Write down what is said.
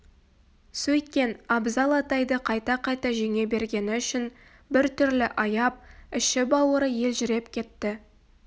сөйткен абзал атайды қайта-қайта жеңе бергені үшін бір түрлі аяп іші-бауыры елжіреп кетті